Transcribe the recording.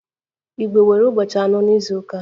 Igbo nwere ụbọchị anọ n'izuụka